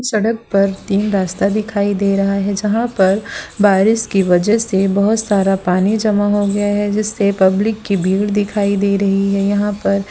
सड़क पर तीन रास्ता दिखाई दे रहा है जहां पर बारिश की वजह से बहुत सारा पानी जमा हो गया है जिससे पब्लिक की भीड़ दिखाई दे रही है यहां पर।